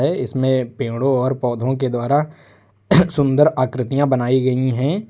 इसमें पेड़ों और पौधों के द्वारा सुंदर आकृतियां बनाई गई है।